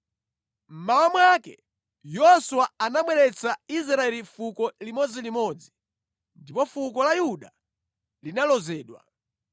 Mmawa mwake Yoswa anabweretsa Israeli fuko limodzilimodzi ndipo fuko la Yuda linalozedwa.